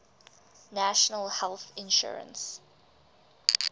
national health insurance